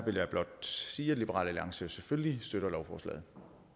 vil jeg blot sige at liberal alliance selvfølgelig støtter lovforslaget